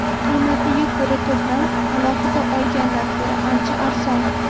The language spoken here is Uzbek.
Qiymatiga ko‘ra to‘plam alohida olgandan ko‘ra ancha arzon.